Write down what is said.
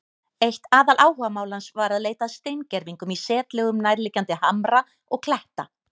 Eitt aðaláhugamál hans var að leita að steingervingum í setlögum nærliggjandi hamra og kletta.